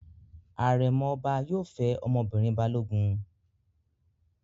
Àrẹ̀mọ ọba yóò fẹ́ ọmọbìnrin Balógun.